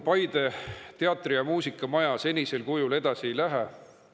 Paide Muusika‑ ja Teatrimaja senisel kujul edasi ei.